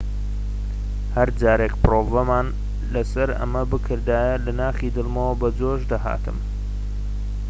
هەرجارێك پرۆڤەمان لەسەر ئەمە بکردایە لە ناخی دڵمەوە بەجۆش دەهاتم